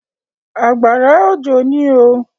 Àgbàrá òjò ní oo.